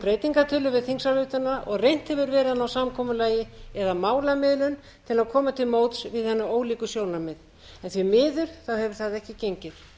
breytingartillögur við þingsályktunina og reynt hefur verið að ná samkomulagi eða málamiðlun til að koma til móts við hin ólíku sjónarmið en því miður hefur það ekki gengið